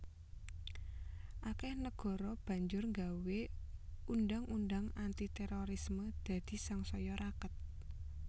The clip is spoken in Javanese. Akèh negara banjur nggawé undhang undhang anti térorisme dadi sangsaya raket